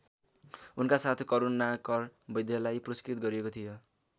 उनका साथ करुणाकर वैद्यलाई पुरस्कृत गरिएको थियो।